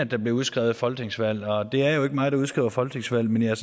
der bliver udskrevet folketingsvalg og det er jo ikke mig der udskriver folketingsvalg men jeg er